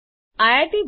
જોડાવા બદ્દલ આભાર